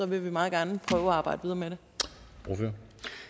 vil vi meget gerne prøve at arbejde videre med dem